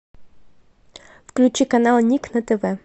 включи канал ник на тв